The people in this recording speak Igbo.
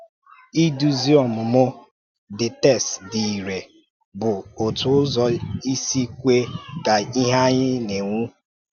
Idúzi ọmụmụ the text dị irè bụ otu ụzọ isi kwe ka ìhè anyị na-enwu.